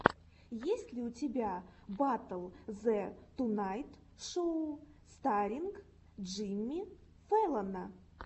есть ли у тебя батл зе тунайт шоу старринг джимми фэллона